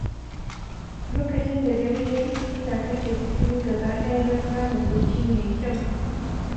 Lokacin da dare ya yi, ina kashe fitilu gaba ɗaya don samun bacci mai kyau.